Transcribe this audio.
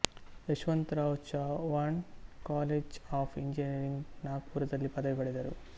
Yashwantrao Chavan college of engineering ನಾಗ್ಪುರದಲ್ಲಿ ಪದವಿ ಪಡೆದರು